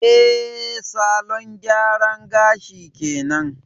Eh, salon gyara gashin kenan.